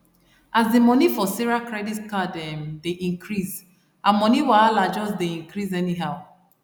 as the money for sarah credit card um dey increase her money wahala just dey increase anyhow